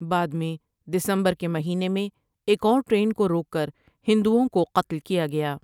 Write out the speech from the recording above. بعد میں دسمبر کے مہینے میں ایک اور ٹرین کو روک کر ہندوں کو قتل کیا گیا ۔